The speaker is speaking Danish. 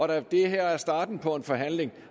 da det her er starten på en forhandling